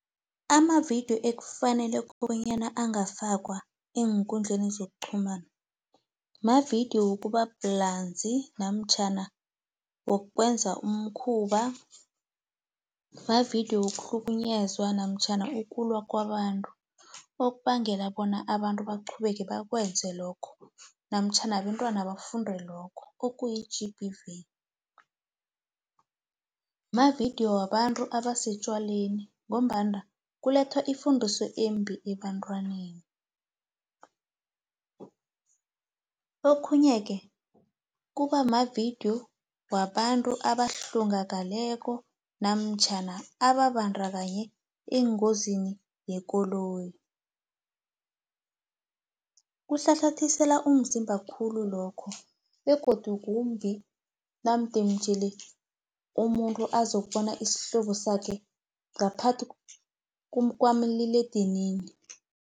Amavidiyo ekufanele bonyana angafakwa eenkundleni zokuqhumana, mavidiyo wokubabulazi, namtjhana wokwenza umkhuba, mavidiyo wokuhlukunyezwa namtjhana ukulwa kwabantu. Okubangela bona abantu baqhubeke bakwenze lokho, namtjhana abentwana bafunde lokho okuyi-G_B_V. Mavidiyo wabantu abasetjwaleni, ngombana kulethwa ifundiso embi ebantwaneni. Okhunye-ke, kubamavidiyo wabantu abahlongakaleko, namtjhana ababandakanye engozini yekoloyi, kuhlahlathisela umzimba khulu lokho, begodu kumbi, namdejele umuntu azokubona isihlobo sakhe, ngaphakathi kwamaliledinini.